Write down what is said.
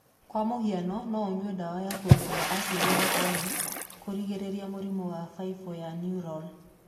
Kwa mũhiano no ũnyue dawa ya kuongerera acidi ya folic kũrigĩrĩria mũrimũ wa baibũ ya neural.